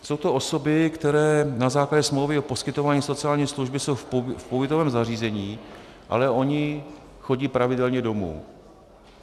Jsou to osoby, které na základě smlouvy o poskytování sociální služby jsou v pobytovém zařízení, ale ony chodí pravidelně domů.